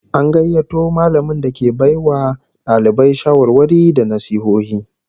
An gayyato mallamin da ke bai wa dalibai shawarwari da nasihohi